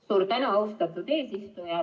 Suur tänu, austatud eesistuja!